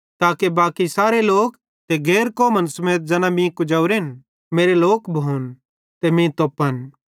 ताके बाकी सारे लोक ते गैर कौमन समेत ज़ैना मीं कुजोरेन मेरे लोक भोन ते मीं तोप्पन